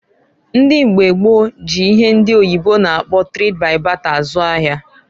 Ndị mgba gboo ji ihe ndi oyibo na-akpọ trade by barter azụ ahia.